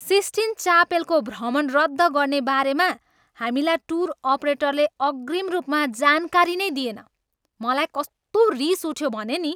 Sistine चापेलको भ्रमण रद्द गर्ने बारेमा हामीलाई टुर अपरेटरले अग्रिम रूपमा जानकारी नै दिएन। मलाई कस्तो रिस उठ्यो भने नि।